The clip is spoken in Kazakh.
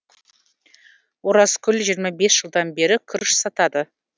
оразкүл жиырма бес жылдан бері күріш сатады